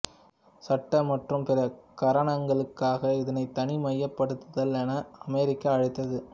சட்ட மற்றும் பிற காரணங்களுக்காக இதனை தனிமைப்படுத்ததல் என அமெரிக்கா அழைத்தது